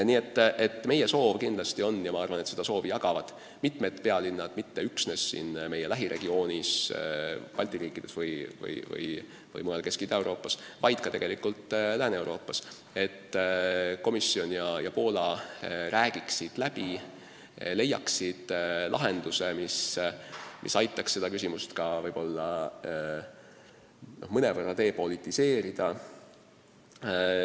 Nii et meie soov kindlasti on – ja ma arvan, et seda soovi jagavad mitmed pealinnad mitte üksnes siin meie lähiregioonis, Balti riikides või mujal Kesk- ja Ida-Euroopas, vaid tegelikult ka Lääne-Euroopas –, et komisjon ja Poola räägiksid läbi ning leiaksid lahenduse, mis aitaks seda küsimust ka mõnevõrra depolitiseerida.